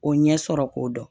O ɲɛ sɔrɔ k'o dɔn